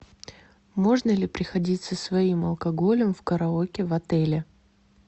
можно ли приходить со своим алкоголем в караоке в отеле